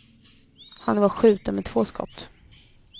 Han var skjuten med två skott.